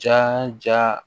Ja ja